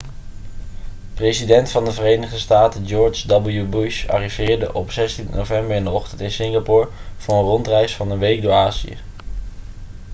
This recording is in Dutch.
president van de verenigde staten george w bush arriveerde op 16 november in de ochtend in singapore voor een rondreis van een week door azië